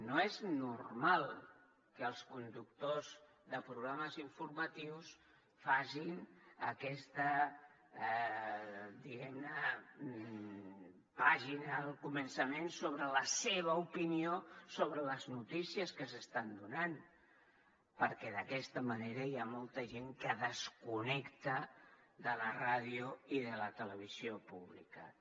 no és normal que els conductors de programes informatius facin aquesta diguem ne pàgina al començament sobre la seva opinió sobre les notícies que s’estan donant perquè d’aquesta manera hi ha molta gent que desconnecta de la ràdio i de la televisió públiques